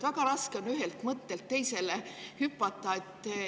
Väga raske on ühelt mõttelt teisele hüpata.